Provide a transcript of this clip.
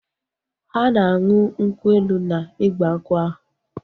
Ha na anụ nkwu elu na igbankwu ahu